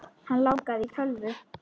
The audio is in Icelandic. Hann langaði í tölvu.